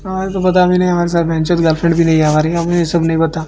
हमारे तो पता भी नहीं हमारे साथ गर्लफ्रेंड भी नहीं है हमारी हम ये सब नहीं पता।